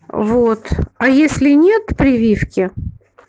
вот а если нет прививки